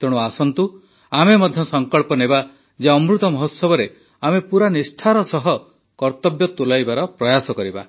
ତେଣୁ ଆସନ୍ତୁ ଆମେ ମଧ୍ୟ ସଙ୍କଳ୍ପ ନେବା ଯେ ଅମୃତ ମହୋତ୍ସବରେ ଆମେ ପୁରା ନିଷ୍ଠାର ସହ କର୍ତବ୍ୟ ତୁଲାଇବାର ପ୍ରୟାସ କରିବା